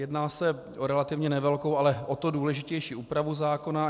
Jedná se o relativně nevelkou, ale o to důležitější úpravu zákona.